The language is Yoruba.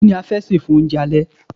Kí ni a fẹ́ sè fún oúnjẹ alẹ́.